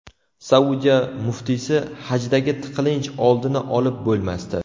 Saudiya muftiysi: hajdagi tiqilinch oldini olib bo‘lmasdi.